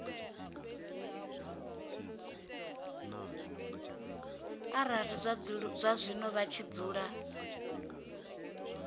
arali zwazwino vha tshi dzula